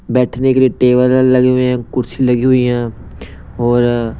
बैठने के लिए टेबल लगे हुए हैं कुर्सी लगी हुई हैं और।